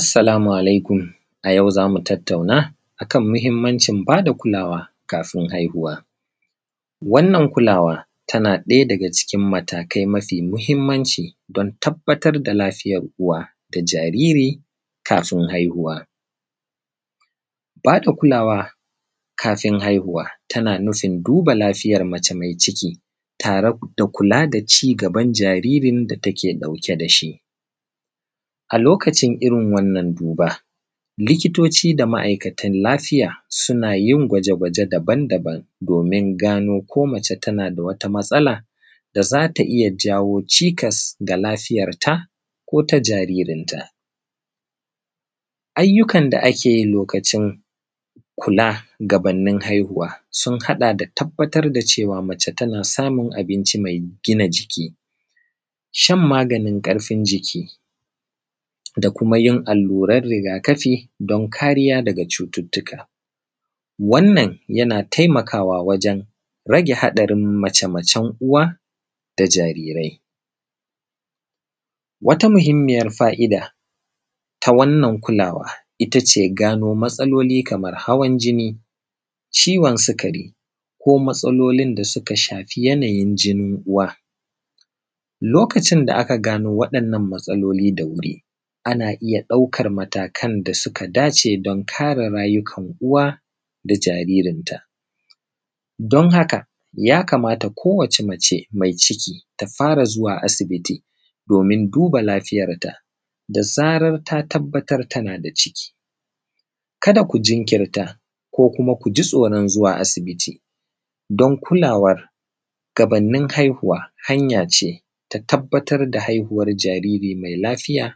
Assalamu alaikum. A yau za mu tattauna a kan muhimmancin ba da kulawa kafin haihuwa. Wannan kulawa tana ɗaya daga cikin matakai mafi muhimmanci don tabbatar da lafiyar uwa da jariri kafin haihuwa. Ba da kulawa, kafin haihuwa, tana nufin duba lafiyar mace mai ciki tare da kula da ci gaban jaririn da take ɗauke da shi. A lokacin irin wannan duba, likitoci da ma’akatan lafiya, suna yin gwaje-gwaje daban-daban domin gano ko mace tana da wata matsala da za ta iya jawo cikas ga lafiyarta, ko ta jaririnta. Ayyukan da ake yi lokacin kula gabannin haihuwa, sun haɗa da tabbatar da cewa mace tana samun abinci mai gina jiki, shan maganin ƙarfin jiki, da kuma yin allurar riga-kafi don kariya daga cututtuka. Wannan yana taimakawa wajen rage haɗarin mace-macen uwa da jarirai. Wata muhimmiyar fa’ida ta wannan kulawa ita ce gano matsaloli kamar hawan jini, ciwon sukari, ko matsalolin da suka shafi yanayin jinin uwa. Lokacin da aka gano waɗannan matsaloli da wuri, ana iya ɗaukar matakan da suka dace don kare rayukan uwa da jaririnta. Don haka, ya kamata kowace mace mai ciki, ta fara zuwa asibiti domin duba lafiyarta, da zarar ta tabbatar tana da ciki. Kada ku jinkirta, ko kuma ku ji tsoron zuwa asibiti, don kulawar gabannin haihuwa, hanya ce ta tabbatar da jariri mai lafiya,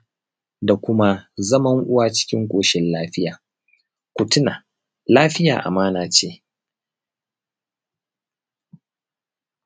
da kuma zaman uwa cikin ƙoshin lafiya. Ku tuna, lafiya amana ce.